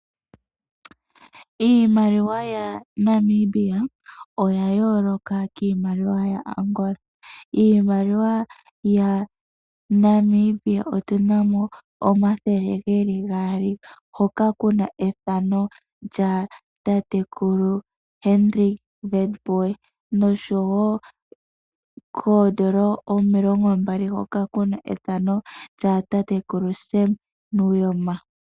Iimaliwa yaNamibia oya yoloka kiimaliwa yaAngola. Iimaliwa yaNamibia otu na mo omathele geli gaali hoka kuna ethano lyatatekulu Hedrick Witbooi noshowo koodollar omilongo mbali hoka kuna efano lya tatekulu Sam Nujoma.